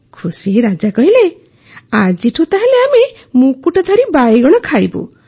ଖୁସି ହୋଇ ରାଜା କହିଲେ ଆଜିଠୁ ଆମେ ମୁକୁଟଧାରୀ ବାଇଗଣ ଖାଇବୁ